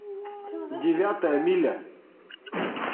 девятая миля